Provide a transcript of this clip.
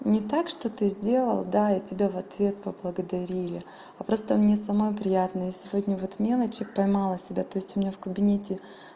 не так что ты сделал да и тебя в ответ поблагодарили а просто мне самой приятно и сегодня вот мелочи поймала себя то есть у меня в кабинете